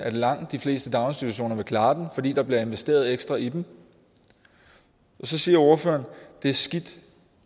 at langt de fleste daginstitutioner vil klare den fordi der bliver investeret ekstra i dem så siger ordføreren at det er skidt